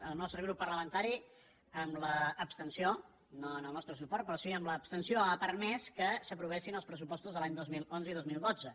el nostre grup parlamentari amb l’abs·tenció no amb el nostre suport però sí amb l’absten·ció ha permès que s’aprovessin els pressupostos dels anys dos mil onze i dos mil dotze